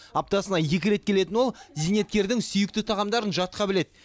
аптасына екі рет келетін ол зейнеткердің сүйікті тағамдарын жатқа біледі